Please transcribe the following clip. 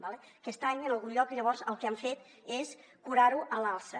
d’acord aquest any en algun lloc llavors el que han fet és curar ho a l’alça